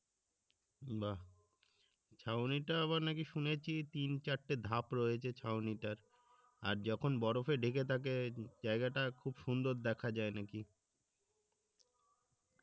বাহ্ ছাউনিটা আবার নাকি শুনেছি তিন চারটি ধাপ রয়েছে ছাউনিটার আর যখন বরফে ঢেকে থাকে জায়গাটা খুব সুন্দর দেখা যায় নাকি